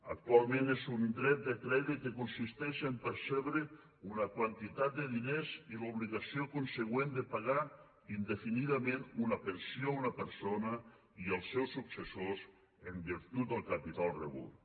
actualment és un dret de crèdit que consisteix a percebre una quantitat de diners i l’obligació consegüent de pagar indefinidament una pensió a una persona i els seus successors en virtut del capital rebut